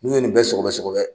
N'u ye nin sogobɛ sogobɛ